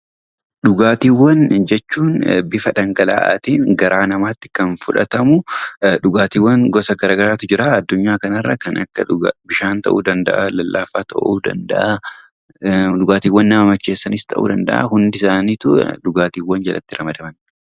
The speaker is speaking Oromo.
Dhugaatiiwwab jechuun bifa dhangala'aa ta'een garaa namaa tti kan fudhatamu dhugaatiiwwan gosa garaa garaa tu jira. Addunyaa kanarra kan akka Bishaan ta'uu danda'aa, lallaafaas ta'uu danda'aa, dhugaatiiwwan nama macheessanis ta'uu danda'aa, hundisaaniitoi dhugaatiiwwan jalatti ramadaman.